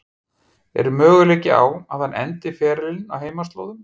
Er möguleiki á að hann endi ferilinn á heimaslóðum?